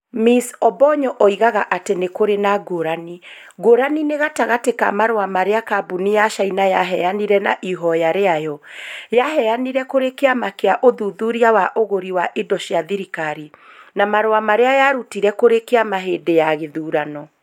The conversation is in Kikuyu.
Ms Obonyo oigaga atĩ nĩ kũrĩ na ngũrani . Ngũrani nĩ gatagatĩ ka marũa marĩa kambuni ya caina yaheanire na ihoya rĩayo. Yaheanire kũrĩ kĩama kĩa ũthuthuria wa ũgũri wa indo cia thirikari. Na marũa marĩa yarutĩte kũrĩ kĩama hĩndĩ ya gĩthurano.